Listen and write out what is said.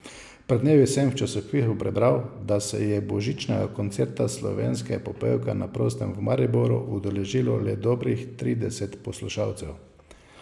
Pred dnevi sem v časopisu prebral, da se je božičnega koncerta slovenske popevke na prostem v Mariboru udeležilo le dobrih trideset poslušalcev.